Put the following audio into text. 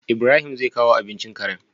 IIbrahim zai kawo abincin Karen?